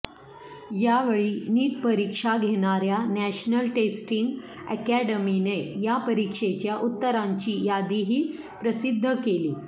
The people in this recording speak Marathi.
यावेळी नीट परीक्षा घेणाऱ्या नॅशनल टेस्टिंग अकॅडमीने या परीक्षेच्या उत्तरांची यादीही प्रसिद्ध केली